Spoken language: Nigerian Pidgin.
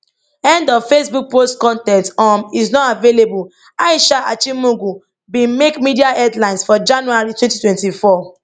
end of facebook post con ten t um is not available aisha achimugu bin make media headlines for january 2024